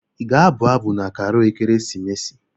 Ị ga-abụ abụ na Karol ekeresimesi?